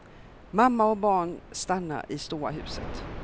Mamma och barn stannar i stora huset.